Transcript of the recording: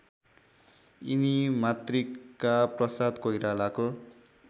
यिनी मातृकाप्रसाद कोइरालाको